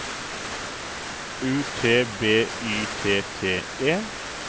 U T B Y T T E